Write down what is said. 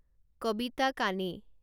কবিতা কানে